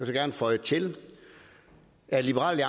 så gerne føje til at liberal